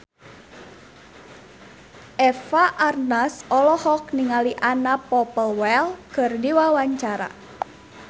Eva Arnaz olohok ningali Anna Popplewell keur diwawancara